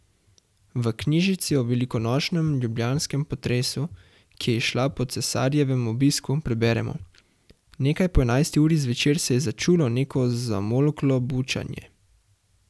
V knjižici o velikonočnem ljubljanskem potresu, ki je izšla po cesarjevem obisku, preberemo: 'Nekaj po enajsti uri zvečer se je začulo neko zamolklo bučanje.